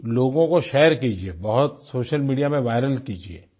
लोगों को शेयर कीजिये बहुत सोशल मीडिया में विरल कीजिये